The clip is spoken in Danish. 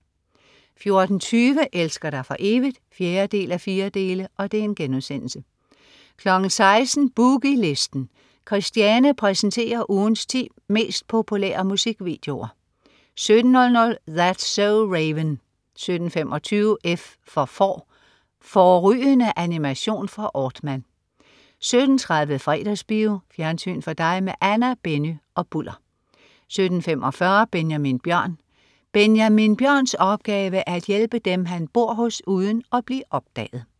14.20 Elsker dig for evigt? 4:4* 16.00 Boogie Listen. Christiane præsenterer ugens 10 mest populære musikvideoer 17.00 That's so Raven 17.25 F for Får. Fårrygende animation fra Aardman 17.30 Fredagsbio. Fjernsyn for dig med Anna, Benny og Bulder 17.45 Benjamin Bjørn. Benjamin Bjørns opgave er at hjælpe dem, han bor hos, uden at blive opdaget